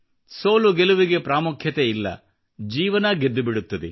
ಸೋಲುಗೆಲುವಿಗೆ ಪ್ರಾಮುಖ್ಯತೆ ಇಲ್ಲ ಜೀವನ ಗೆದ್ದು ಬಿಡುತ್ತದೆ